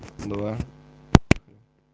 два